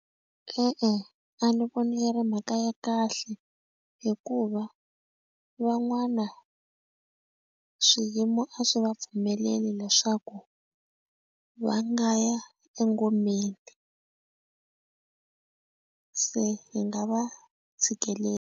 E-e, a ni voni ku ri mhaka ya kahle hikuva van'wana swiyimo a swi va pfumeleli leswaku va nga ya engomeni se hi nga va tshikelela.